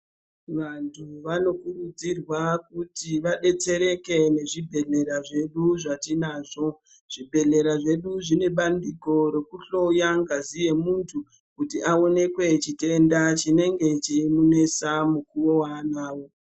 Vantu vanokurudzirwa kuti vadetsereke nezvibhedhleya zvedu zvatinazvo zvibhedhlera zvedu zvine bandiko rokuhloya ngazi yemuntu kuti awonekwe chitenda chinenge cheimunesa mukuwo waanenge anawo.